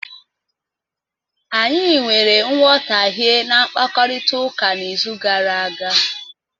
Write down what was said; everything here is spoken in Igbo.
Anyị nwere nghọtahie na mkpakọrịta n'izu gara aga.